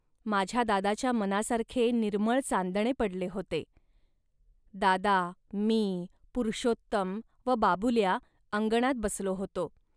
माझ्या दादाच्या मनासारखे निर्मळ चांदणे पडले होते. दादा, मी, पुरुषोत्तम व बाबुल्या अंगणात बसलो होतो